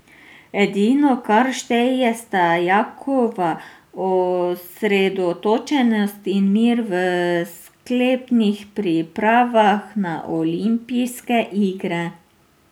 Edino, kar šteje, sta Jakova osredotočenost in mir v sklepnih pripravah na olimpijske igre.